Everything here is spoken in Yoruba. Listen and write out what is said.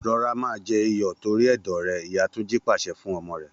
Rọra máa jẹ iyọ̀ torí ẹ̀dọ̀ rẹ!. ìyá Túnjí pàṣẹ fún ọmọ rẹ̀